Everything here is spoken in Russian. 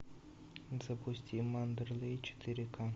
запусти мандерлей четыре ка